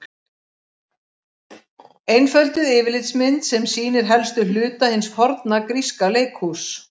Einfölduð yfirlitsmynd sem sýnir helstu hluta hins forna gríska leikhúss.